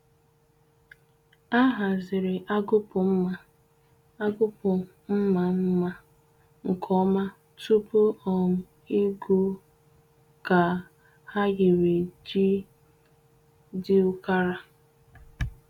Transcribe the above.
Ha haziri agụkpụ mma agụkpụ mma mma nke ọma tupu um igwu ka ahịrị ji dị ukara